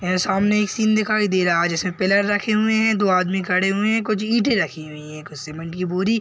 यह सामने एक सीन दिखाई दे रहा है जिसे पिलर रखे हुएं हैं दो आदमी खड़े हुएं हैं कुछ ईंटे रखी हुई हैं कुछ सीमेंट की बोरी --